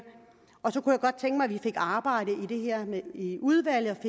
og så kunne jeg godt tænke mig at vi fik arbejdet med det her i udvalget og